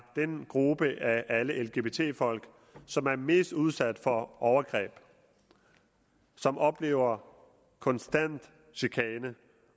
den gruppe af alle lgbt folk som er mest udsat for overgreb som oplever konstant chikane